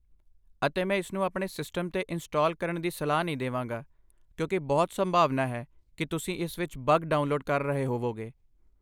ਅਤੇ ਮੈਂ ਇਸ ਨੂੰ ਆਪਣੇ ਸਿਸਟਮ ਤੇ ਇੰਸਟਾਲ ਕਰਣ ਦੀ ਸਲਾਹ ਨਹੀਂ ਦੇਵਾਂਗਾ ਕਿਉਂਕਿ ਬਹੁਤ ਸੰਭਾਵਨਾ ਹੈ ਕਿ ਤੁਸੀਂ ਇਸ ਵਿੱਚ ਬੱਗ ਡਾਊਨਲੋਡ ਕਰ ਰਹੇ ਹੋਵੋਗੇ।